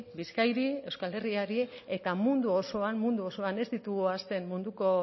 bizkaiari euskal herriari eta mundu osoan mundu osoan ez ditugu ahazten munduko